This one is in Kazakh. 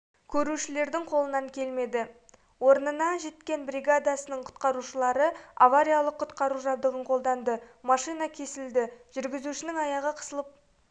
көрушілердің қолынан келмеді орнына жеткен бригадасының құтқарушылары авариялық-құтқару жабдығын қолданды машина кесілді жүргізушінің аяғы қысылып